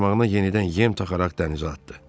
Qarmağına yenidən yem taxaraq dənizə atdı.